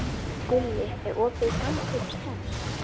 Gulli, er opið í Samkaup Strax?